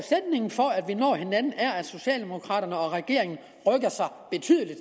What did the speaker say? vi når hinanden er at socialdemokraterne og regeringen rykker sig betydeligt